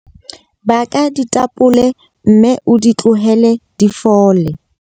Baka ditapole mme o di tlohele di fole.